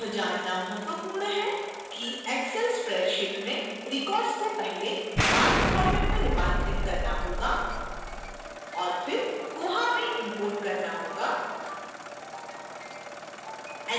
यह जानना महत्वपूर्ण है कि